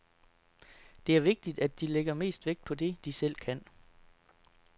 Det er vigtigt, at de lægger mest vægt på det, de selv kan.